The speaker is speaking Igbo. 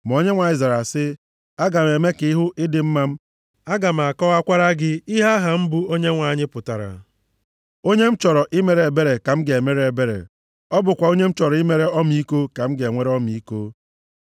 Ma Onyenwe anyị zara sị, “Aga m eme ka ị hụ ịdị mma m, aga m akọwakwara gị ihe aha m bụ Onyenwe anyị pụtara. Onye m chọrọ imere ebere ka m ga-emere ebere, ọ bụkwa onye m chọrọ imere ọmịiko ka m ga-enwere ọmịiko.